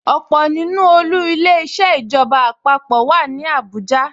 Ọ̀pọ̀ nínú olú Ilé-iṣẹ́ ìjọba àpapọ̀ wà ní Abuja